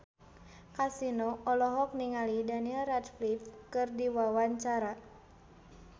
Kasino olohok ningali Daniel Radcliffe keur diwawancara